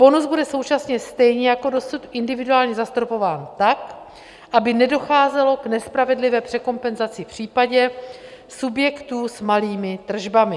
Bonus bude současně stejně jako dosud individuálně zastropován tak, aby nedocházelo k nespravedlivé překompenzaci v případě subjektů s malými tržbami.